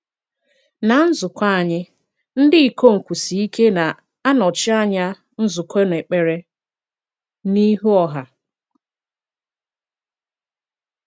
Ná nzùkọ̀ anyị, ndị ikom kwụ̀sie ike na-anọchi anya nzùkọ n’èkpere n’ihu ọha.